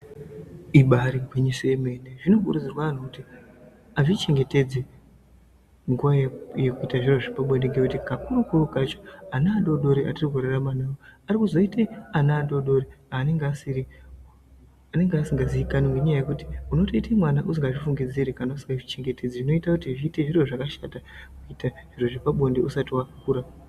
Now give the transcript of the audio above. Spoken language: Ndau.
Ibaari gwinyiso yemene, zvinokurudzirwa andhu kuti azvichengetedze munguwa yekuita zviro zvepabonde. Ngekuti kakuru-kuru kacho ana adoodori atiri kurarama nawo arikuzoite ana adoodori anenge asiri, anenge asingaziikani ngenyaya yekuti unotoite mwana usingazvifungidziri, kana usingazvichengetedzi unoita kuti zviite zviro zvakashata, kuita zviro zvepabonde usati wakura.